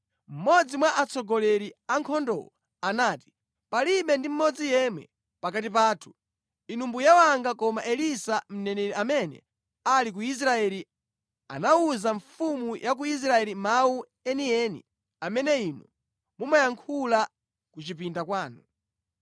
Mmodzi mwa atsogoleri a ankhondowo anati, “Palibe ndi mmodzi yemwe pakati pathu, inu mbuye wanga, koma Elisa mneneri amene ali ku Israeli amawuza mfumu ya ku Israeli mawu enieni amene inu mumayankhula ku chipinda kwanu.”